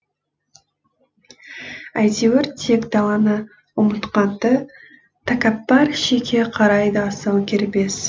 әйтеуір тек даланы ұмытқан ды тәкәппар шеке қарайды асау кербез